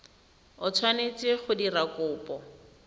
o tshwanetse go dira kopo